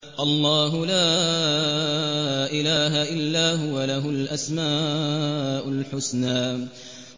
اللَّهُ لَا إِلَٰهَ إِلَّا هُوَ ۖ لَهُ الْأَسْمَاءُ الْحُسْنَىٰ